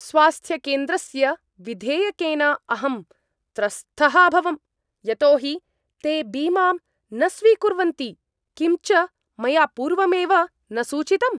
स्वास्थ्यकेन्द्रस्य विधेयकेन अहं त्रस्तः अभवम्। यतो हि ते बीमां न स्वीकुर्वन्ति । किं च मया पूर्वमेव न सूचितम्।